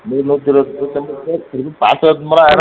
நூறு நூத்தியிருபத்தி ஐந்து நூத்தி ஐம்பது பேருக்கு ஆயிரும்